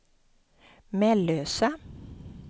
Mellösa